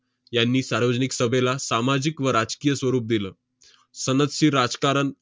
यांनी सार्वजनिक सभेला सामाजिक व राजकीय स्वरूप दिलं. सनदशीर राजकारण